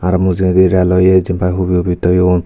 aro mujungode reloye jenpai hubi hubi toyon.